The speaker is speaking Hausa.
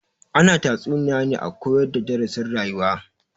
Ana tatsuniya ne a koyar da darasin rayuwa